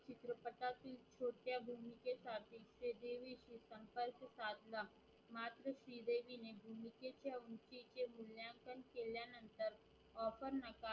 offer Naik